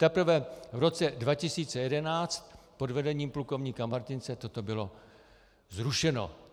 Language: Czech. Teprve v roce 2011 pod vedením plukovníka Martince toto bylo zrušeno.